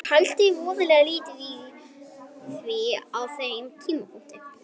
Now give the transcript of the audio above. Ég pældi voðalega lítið í því á þeim tímapunkti.